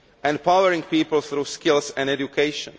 empowering people through skills and education